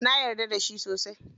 Na yarda da shi sosai.